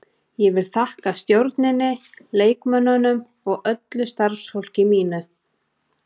Ég vil þakka stjórninni, leikmönnunum og öllu starfsfólki mínu.